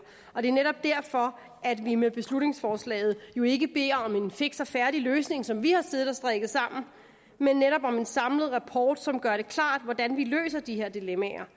og det er netop derfor at vi med beslutningsforslaget jo ikke beder om en fiks og færdig løsning som vi har siddet og strikket sammen men netop om en samlet rapport som gør det klart hvordan vi løser de her dilemmaer